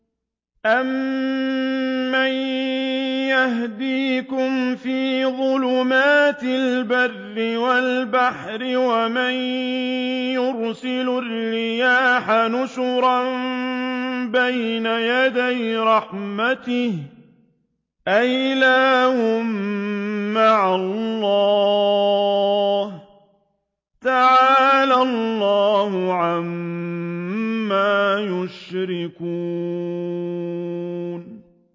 أَمَّن يَهْدِيكُمْ فِي ظُلُمَاتِ الْبَرِّ وَالْبَحْرِ وَمَن يُرْسِلُ الرِّيَاحَ بُشْرًا بَيْنَ يَدَيْ رَحْمَتِهِ ۗ أَإِلَٰهٌ مَّعَ اللَّهِ ۚ تَعَالَى اللَّهُ عَمَّا يُشْرِكُونَ